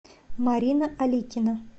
марина аликина